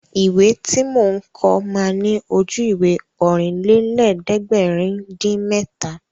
Ìwé tí mò ń kọ ma ní Ojú-Ìwé Ọ̀rìnlélẹ̀ẹ́dẹ́gbèrin-dín-mẹ́ta